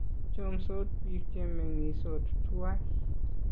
chomsot biik che meng'isot tuwai